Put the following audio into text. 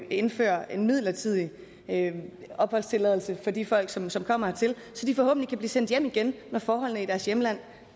indføre en midlertidig opholdstilladelse for de folk som som kommer hertil så de forhåbentlig kan blive sendt hjem igen når forholdene i deres hjemland